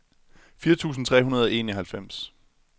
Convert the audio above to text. fire tusind tre hundrede og enoghalvfems